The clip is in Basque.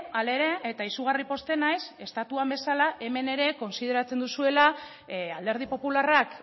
hala ere eta izugarri pozten naiz estatuan bezala hemen ere kontsideratzen duzuela alderdi popularrak